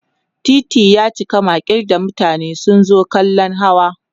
titi yaci makil da mutane sun zo kallan hawa